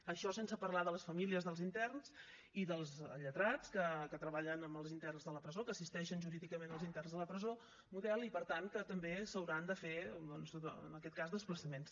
això sense parlar de les famílies dels interns i dels lletrats que treballen amb els interns de la presó que assisteixen jurídicament els interns de la presó model i per tant que també s’hauran de fer doncs en aquest cas desplaçaments